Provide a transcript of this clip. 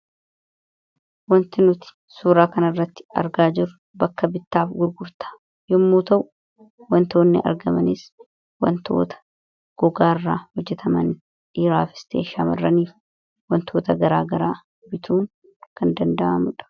wanti nuti suuraa kan irratti argaa jirru bakka bittaaf gurgurtaa yommuu ta'u wantoonni argamaniis wantoota gogaa irraa hojjetaman dhiiraaf ista'e shamarraniif wantoota garaa garaa bituun kan danda’amudha